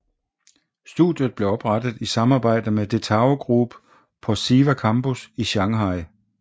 Studiet blev oprettet i samarbejde med DeTao Group på SIVA Campus i Shanghai